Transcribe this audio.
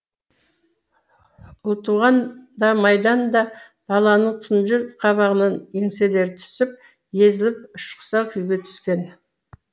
ұлтуған да майдан да даланың тұнжыр қабағынан еңселері түсіп езіліп ішқұса күйге түскен